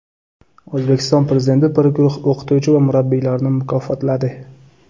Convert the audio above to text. O‘zbekiston Prezidenti bir guruh o‘qituvchi va murabbiylarni mukofotladi.